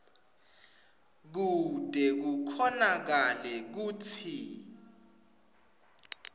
kute kukhonakale kutsi